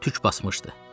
Tük basmışdı.